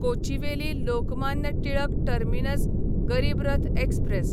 Kochuveli Lokmanya Tilak terminus Garib Rath express